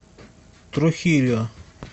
трухильо